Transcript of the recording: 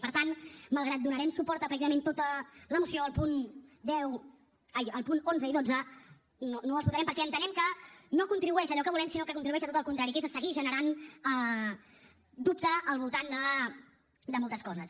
i per tant malgrat que donarem suport a pràcticament tota la moció els punts onze i dotze no els votarem perquè entenem que no contribueixen a allò que volem sinó que contribueixen a tot el contrari que és a seguir generant dubte al voltant de moltes coses